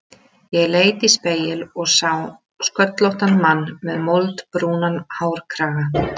Ég leit í spegil og ég sá sköllóttan mann með moldbrúnan hárkraga.